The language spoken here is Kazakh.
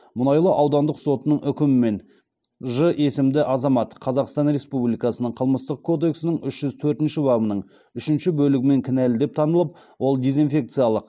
мұнайлы аудандық сотының үкімімен ж есімді азамат қазақстан республикасының қылмыстық кодексінің үш жүз төртінші бабының үшінші бөлігімен кінәлі деп танылып ол дезинфекциялық